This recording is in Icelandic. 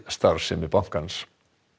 starfsemi bankans